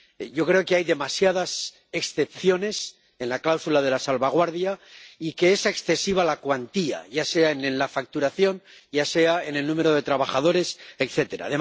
Yo creo que hay demasiadas excepciones en la cláusula de la salvaguardia y que es excesiva la cuantía, ya sea en la facturación, ya sea en el número de trabajadores, etcétera